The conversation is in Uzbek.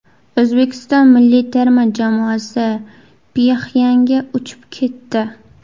O‘zbekiston milliy terma jamoasi Pxenyanga uchib ketdi.